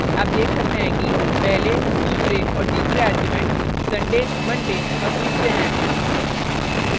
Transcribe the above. आप देख सकते हैं कि पहले तीसरे arguments sunday monday और tuesday हैं